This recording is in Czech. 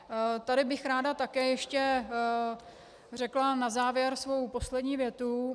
Tady bych ráda také ještě řekla na závěr svou poslední větu.